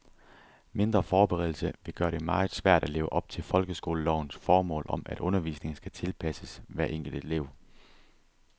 Mindre forberedelse vil gøre det meget svært at leve op til folkeskolelovens formål om, at undervisningen skal tilpasses hver enkelt elev.